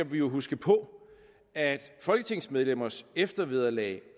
vi jo huske på at folketingsmedlemmers eftervederlag